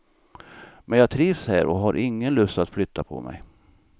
Men jag trivs här och har ingen lust att flytta på mig.